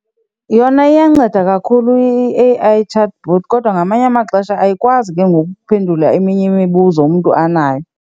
Yona iyanceda kakhulu i-A_I chatbot kodwa ngamanye amaxesha ayikwazi ke ngoku ukuphendula eminye imibuzo umntu anayo.